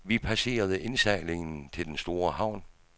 Vi passerede indsejlingen til den store havn.